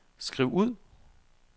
skriv ud